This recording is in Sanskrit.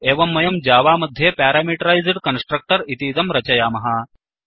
एवं वयं जावा मध्ये प्यारामीटरैस्ड् कन्स्ट्रक्टर् इतीदं रचयामः